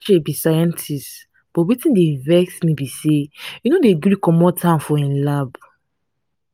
be scientist but wetin dey vex me be say he no dey gree come out from im lab